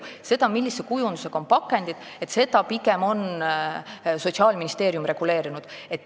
Seda, millise kujundusega on pakendid, on pigem Sotsiaalministeerium reguleerinud.